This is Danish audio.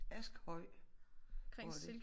Akshøj hvor er det?